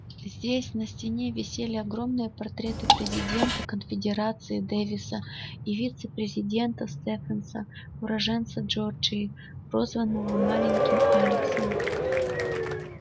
здесь на стене висели огромные портреты президента конфедерации дэвиса и вице-президента стефенса уроженца джорджии прозванного маленьким алексом